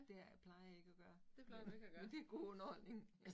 Der plejer jeg ikke at gøre, men men det god underholdning